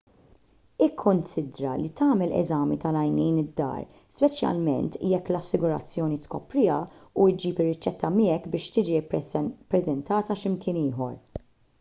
ikkunsidra li tagħmel eżami tal-għajnejn id-dar speċjalment jekk l-assigurazzjoni tkopriha u ġġib ir-riċetta miegħek biex tiġi ppreżentata x'imkien ieħor